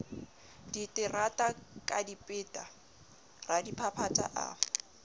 diterata ka dipeta radiphaphatha a